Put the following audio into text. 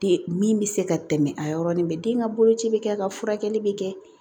Den min bɛ se ka tɛmɛ a yɔrɔnin bɛɛ den ka boloci bɛ kɛ ka furakɛli bɛ kɛ